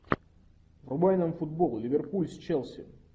врубай нам футбол ливерпуль с челси